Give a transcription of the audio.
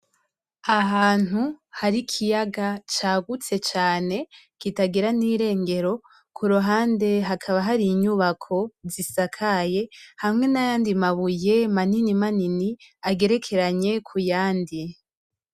Ahantu hari ikiyaga cagutse cane, kitagira n'irengero kuruhande hakaba hari inyubako zisakaye hamwe nayandi mabuye manini manini agerekeranye kuyandi.